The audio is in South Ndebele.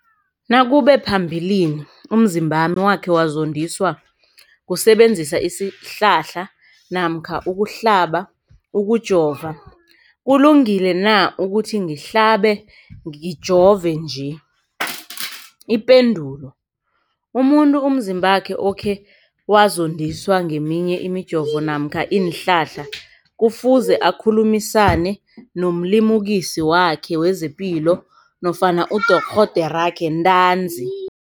nakube phambilini umzimbami wakhe wazondiswa kusebenzisa isihlahla namkha ukuhlaba, ukujova, kulungile na ukuthi ngihlabe, ngijove nje? Ipendulo, umuntu umzimbakhe okhe wazondiswa ngeminye imijovo namkha iinhlahla kufuze akhulumisane nomlimukisi wakhe wezepilo nofana nodorhoderakhe ntanzi.